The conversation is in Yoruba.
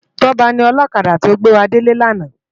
Toba ni òlòkádá tó gbéwádélé làná